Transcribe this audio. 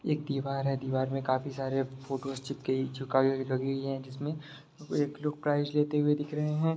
एक दीवार है जिसमें काफी सारे फोटोज लगी हुई है जिसमें एक लोग प्राइज लेते हुए दिख रहे हैं।